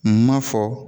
Ma fɔ